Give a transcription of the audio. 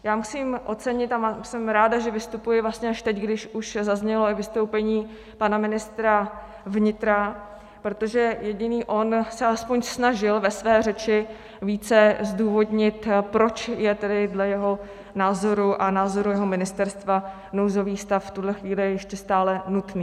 Já musím ocenit - a jsem ráda, že vystupuji vlastně až teď, když už zaznělo i vystoupení pana ministra vnitra, protože jediný on se aspoň snažil ve své řeči více zdůvodnit, proč je tedy dle jeho názoru a názoru jeho ministerstva nouzový stav v tuhle chvíli ještě stále nutný.